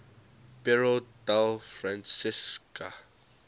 piero della francesca